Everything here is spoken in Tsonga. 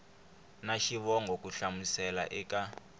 na xivongo ku hlamusela eka